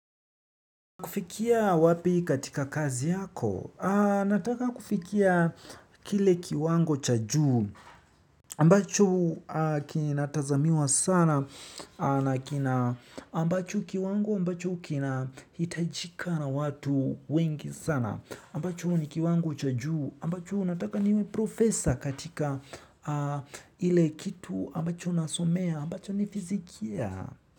Kufikia wapi katika kazi yako nataka kufikia kile kiwango cha juu. Ambacho kinatazamiwa sana. Ambacho kiwango, ambacho kinahitajika na watu wengi sana. Ambacho ni kiwango cha juu. Ambacho nataka niwe profesor katika ile kitu. Ambacho nasomea, ambacho ni fizikia.